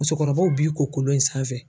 Musokɔrɔbaw b'i ko kolon in sanfɛ.